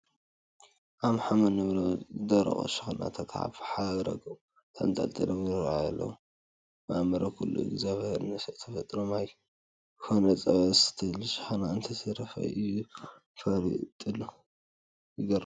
ኣምሓም እንብሎም ዝደረቑ ሽክናታት ኣብ ሓረጐም ተንጠልጢሎም ይርአዩ ኣለዉ፡፡ ማእምረ ኩሉ እግዚኣብሔር ንሰብ እንትፈጥሮ ማይ ኮነ ፀባ ዝሰትየሉ ሽክና እንተይተረፈ እዩ ፈጢሩሉ፡፡ ይገርም፡፡